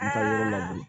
I ka yɔrɔ la bilen